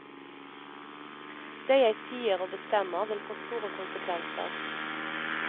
Det jeg sier og bestemmer, vil få store konsekvenser.